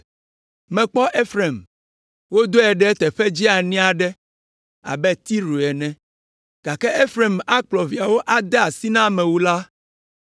Mekpɔ Efraim, wodɔe ɖe teƒe dzeani aɖe abe Tiro ene, gake Efraim akplɔ viawo ade asi na amewula.”